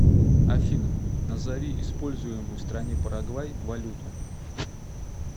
афина назови используемую в стране парагвай валюту